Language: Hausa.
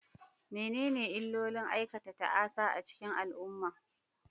Menene illolin aikata ta'asa a cikin al'umma?